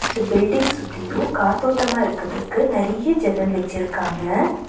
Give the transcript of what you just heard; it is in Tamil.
இந்த பில்டிங் சுத்தியு காத்தோட்டமா இருக்கதுக்கு நெறையா ஜன்னல் வச்சுருக்காங்க.